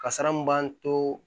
Kasara mun b'an to